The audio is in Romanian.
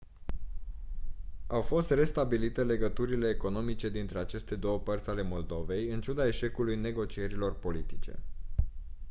au fost restabilite legăturile economice dintre aceste două părți ale moldovei în ciuda eșecului negocierilor politice